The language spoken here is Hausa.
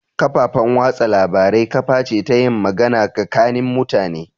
Kafafan watsa labarai kaface ta yin magana gakanin mutane